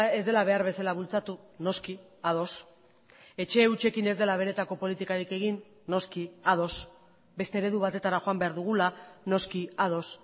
ez dela behar bezala bultzatu noski ados etxe hutsekin ez dela benetako politikarik egin noski ados beste eredu batetara joan behar dugula noski ados